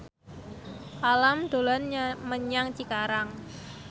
Alam dolan menyang Cikarang